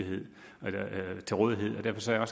ser